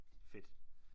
Fedt